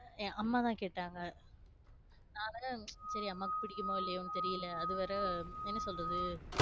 அம்மாதான கேட்டாங்க நான் வேற சரி அம்மாக்கு பிடிக்குமோ என்னனு தெரியல அதுவேற என்ன சொல்றது